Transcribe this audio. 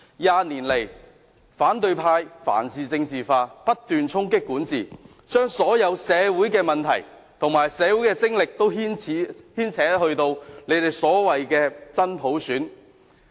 二十年來，反對派凡事政治化，不斷衝擊管治，把所有社會問題和社會精力均牽扯到他們所謂的真普選。